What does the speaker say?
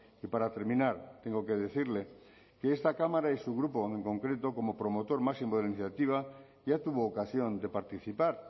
y para terminar tengo que decirle que esta cámara y su grupo en concreto como promotor máximo de la iniciativa ya tuvo ocasión de participar